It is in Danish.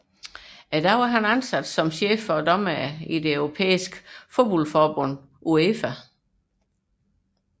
I dag er han ansat som dommerchef for det europæiske fodboldforbund UEFA